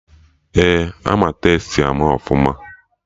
Ee, ama Tastee ama ọfụma